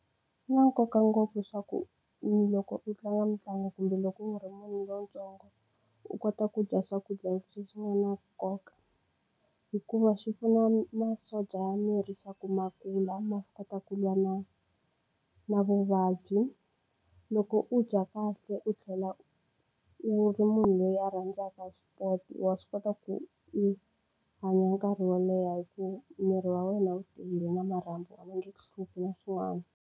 Swi na nkoka ngopfu swa ku loko u tlanga mitlangu kumbe loko u ri munhu lontsongo u kota ku dya swakudya leswi nga na nkoka hikuva swi pfuna masocha ya miri swa ku ma kula ma kota ku lwa na na vuvabyi. Loko u dya kahle u tlhela u ri munhu loyi a rhandzaka sport wa swi kota ku u hanya nkarhi wo leha hi ku miri wa wena wu tiyile na marhambu a ma nge ku hluphi na swin'wana.